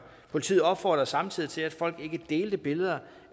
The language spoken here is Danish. politiet opfordrede samtidig til at folk ikke delte billeder